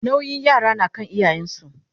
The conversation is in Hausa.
nauyin yara na kan iyayen su